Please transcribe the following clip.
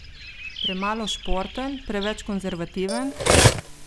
Premalo športen, preveč konservativen?